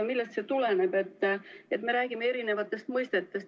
Millest see tuleneb, et me räägime eri mõistetest?